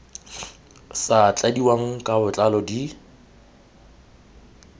sa tladiwang ka botlalo di